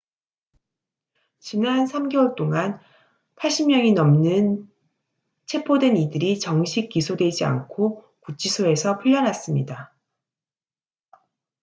지난 3개월 동안 80명이 넘는 체포된 이들이 정식 기소되지 않고 구치소에서 풀려났습니다